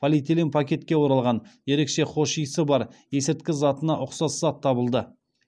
полиэтилен пакетке оралған ерекше хош иісі бар есірткі затына ұқсас зат табылды